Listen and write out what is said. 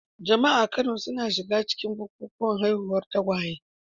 Jama'a a Kano suna shiga cikin bukukuwan haihuwar tagwaye.